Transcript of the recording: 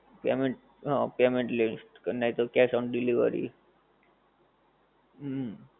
payment હં payment list નહિ તો cash on delivery હુંમ.